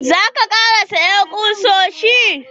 Za ka ƙara saya kusoshi?